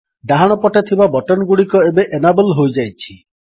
ଡାହାଣପଟେ ଥିବା ବଟନ୍ ଗୁଡ଼ିକ ଏବେ ଏନାବଲ୍ ହୋଇଯାଇଛି